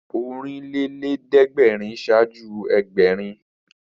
Ọ̀rìnlélẹ́ẹ̀dẹ́gbèrin ṣáájú Ẹgbẹ̀rin